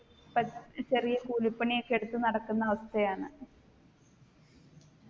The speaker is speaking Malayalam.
ഇപ്പ ചെറിയ കൂലിപണിയൊക്കെ എടുത്ത് നടക്കുന്ന അവസ്ഥയാണ്